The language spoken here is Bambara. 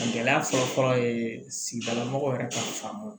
Gɛlɛya fɔlɔ-fɔlɔ ye sigidala mɔgɔ yɛrɛ ka faamu